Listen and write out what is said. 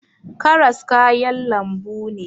Karas kayan lambu ne